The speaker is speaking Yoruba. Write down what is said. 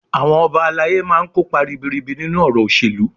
Àwọn Ọba alayé má máa kópa ribiribi nínú ọ̀rọ̀ òṣèlú